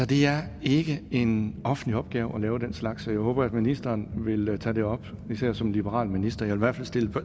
det er ikke en offentlig opgave at lave den slags og jeg håber at ministeren vil tage det op især som liberal minister jeg hvert fald stille